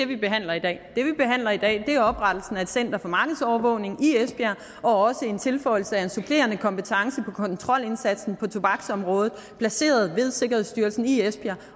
vi behandler i dag det vi behandler i dag er oprettelsen af et center for markedsovervågning i esbjerg og også en tilføjelse af en supplerende kompetence kontrolindsatsen på tobaksområdet placeret ved sikkerhedsstyrelsen i esbjerg